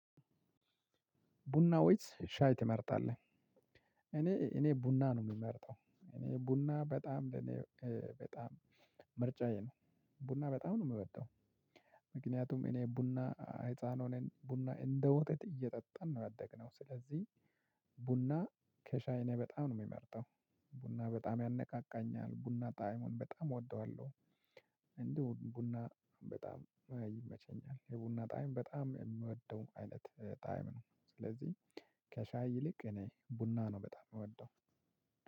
ቡና ወይስ ሻይ ትመርጣለህ? እኔ እኔ ቡና ነው እምመርጠው እኔ ቡና በጣም ለእኔ በጣም ምርጫዬ ነው ቡና በጣም ነው እምወደው። ምክንያቱም እኔ ቡና ህፃን ሆነን ቡና እንደ ወተት እየጠጣን ነው ያደግነው ስለዚህ ቡና ከሻይ በጣም ነው የምመርጠው። ቡና በጣም ያነቃቃኛል ቡና ጣዕሙን በጣም እወደዋለሁ። ቡና በጣም ይመቸኛል የቡና ጣዕም በጣም የምወደው አይነት ጣዕም ነው። ስለዚህ ከሻይ ይልቅ እኔ ቡና ነው በጣም እምወደው።